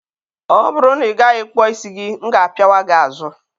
ọ bụrụ na ị gaghị kpụọ isi gị, m ga-apịawa gị azụ!